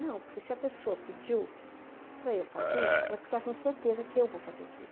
Não, porque se a pessoa pediu para eu fazer, é porque ela tem certeza que eu vou fazer aquilo.